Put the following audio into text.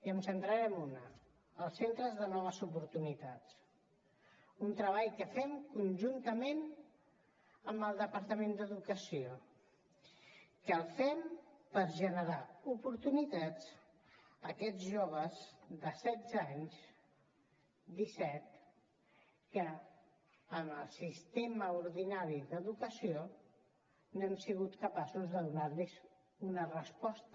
em centraré en una els centres de noves oportunitats un treball que fem conjuntament amb el departament d’educació que el fem per generar oportunitats per a aquests joves de setze anys disset que amb el sistema ordinari d’educació no hem sigut capaços de donar los una resposta